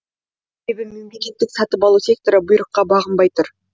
себебі мемлекеттік сатып алу секторы бұйырыққа бағынбай тұр